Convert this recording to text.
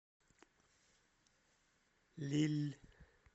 лилль